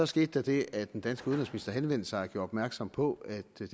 skete der det at den danske udenrigsminister henvendte sig og gjorde opmærksom på at det